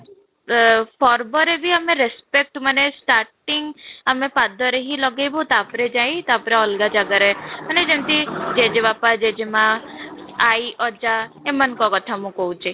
ଆଃ ପର୍ବ ରେ ବି ଆମେ respect ଆମେ starting ଆମେ ପାଦରେ ହିଁ ଲଗେଇବୁ ତାପରେ ଯାଇଁ ତାପରେ ଅଲଗା ଜାଗା ରେ ମାନେ ଯେମିତି ଜେଜେ ବାପା ଜେଜେ ମାଆ ଆଈ ଅଜା ଏମାନଙ୍କ କଥା ମୁଁ କହୁଛି